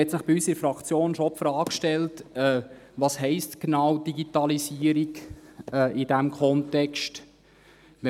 Da hat sich bei uns in der Fraktion schon die Frage gestellt, was Digitalisierung in diesem Kontext genau heisst.